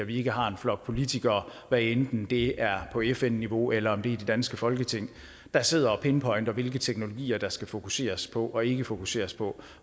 ikke har en flok politikere hvad enten det er på fn niveau eller i det danske folketing der sidder og pinpointer hvilke teknologier der skal fokuseres på og ikke fokuseres på